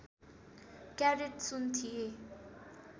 carrot सुन थिए